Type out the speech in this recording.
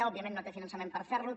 òbviament no té finançament per fer lo